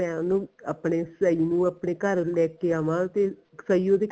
ਮੈਂ ਉਹਨੂੰ ਆਪਣੇ ਸਿਆਹੀ ਨੂੰ ਆਪਣੇ ਘਰ ਲੈ ਕੇ ਆਵਾ ਤੇ ਸਈ ਉਹਦੇ